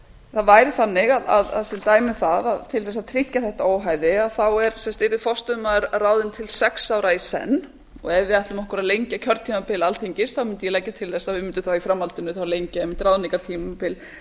það væri þannig að til dæmis það að til dæmis það að tryggja þetta óhæði yrði forstöðumaður ráðinn til sex ára í senn og ef við ætlum okkur að lengja kjörtímabil alþingis mundi ég leggja til að við mundum í framhaldinu þá lengja